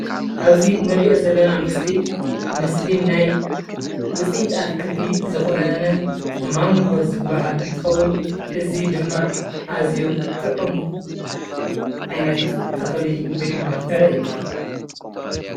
ኣብዚ እንሪኦ ዘለና ምስሊ ምስሊ ናይ ውፅኢት አትክልቲ ዝኮነ ማንጎ ዝባሃል እንትኸውን እዚ ድማ አዝዩ ጥዑም ዓይነት ተክሊ ወይ ድማ ፍረ እዩ፡፡